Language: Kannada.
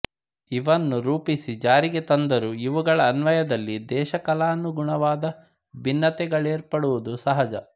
ಇವನ್ನು ರೂಪಿಸಿ ಜಾರಿಗೆ ತಂದರೂ ಇವುಗಳ ಅನ್ವಯದಲ್ಲಿ ದೇಶಕಾಲಾನುಗುಣವಾದ ಭಿನ್ನತೆಗಳೇರ್ಪಡುವುದು ಸಹಜ